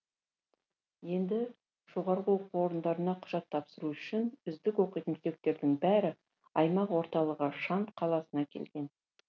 енді жоғары оқу орындарына құжат тапсыру үшін үздік оқитын түлектердің бәрі аймақ орталығы шанд қаласына келген